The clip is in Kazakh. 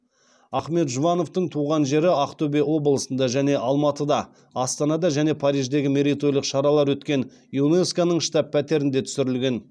ахмет жұбановтың туған жері ақтөбе облысында және алматыда астанада және париждегі мерейтойлық шаралар өткен юнеско ның штаб пәтерінде түсірілген